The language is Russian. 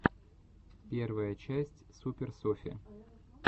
первая часть супер софи